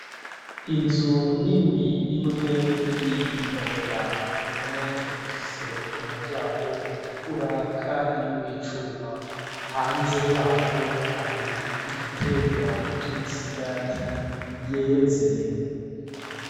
Inzu ni ni imwe n'iyindi ntoya imwe ifise umuryango utukura, kandi w'icuma hanze yaho hari igitegwa c'imisigati yeze.